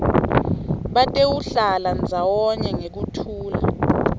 batewuhlala ndzawonye ngekuthula